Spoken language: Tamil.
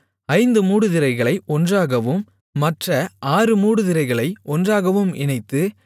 ஐந்து மூடுதிரைகளை ஒன்றாகவும் மற்ற ஆறு மூடுதிரைகளை ஒன்றாகவும் இணைத்து